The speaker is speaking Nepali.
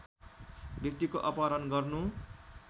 व्यक्तिको अपहरण गर्नु